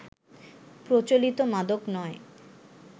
প্রচলিত মাদক নয়